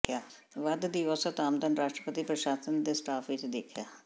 ਵੱਧ ਦੀ ਔਸਤ ਆਮਦਨ ਰਾਸ਼ਟਰਪਤੀ ਪ੍ਰਸ਼ਾਸਨ ਦੇ ਸਟਾਫ ਵਿਚ ਦੇਖਿਆ